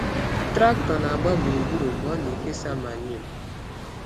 Traktọ na-agba gburugburu mgbe ọ na-ekesa manio.